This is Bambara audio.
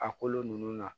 A kolo nunnu na